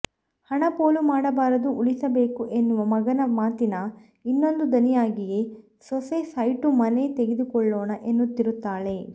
ಹಣ ಪೋಲು ಮಾಡಬಾರದು ಉಳಿಸಬೇಕು ಎನ್ನುವ ಮಗನ ಮಾತಿನ ಇನ್ನೊಂದು ದನಿಯಾಗಿಯೇ ಸೊಸೆ ಸೈಟು ಮನೆ ತೆಗೆದುಕೊಳ್ಳೋಣ ಎನ್ನುತ್ತಿರುತ್ತಾಳೆ